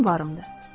Mənim varımdır.